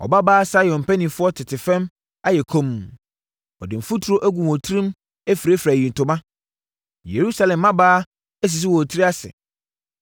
Ɔbabaa Sion mpanimfoɔ tete fam ayɛ komm; wɔde mfuturo agu wɔn tirim afirafira ayitoma. Yerusalem mmabaawa asisi wɔn tiri ase.